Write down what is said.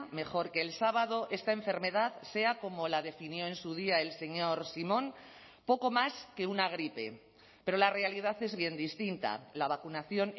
mejor que el sábado esta enfermedad sea como la definió en su día el señor simón poco más que una gripe pero la realidad es bien distinta la vacunación